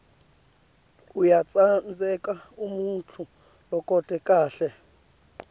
uyatsandzeka umuntfu logcoke kahle